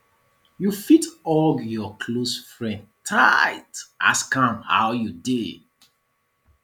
you fit hug your close friend tight ask am how you dey